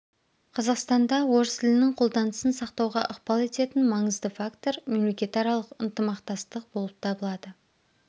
қазақстанда орыс тілінің қолданысын сақтауға ықпал ететін маңызды фактор мемлекетаралық ынтымақтастық болып табылады